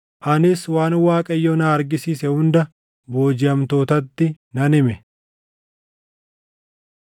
anis waan Waaqayyo na argisiise hunda boojiʼamtootatti nan hime.